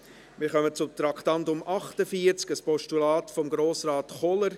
Wir kommen zum Traktandum 48, einem Postulat von Grossrat Kohler.